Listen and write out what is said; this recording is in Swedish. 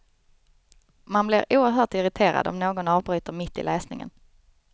Man blir oerhört irriterad om någon avbryter mitt i läsningen.